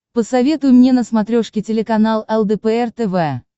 посоветуй мне на смотрешке телеканал лдпр тв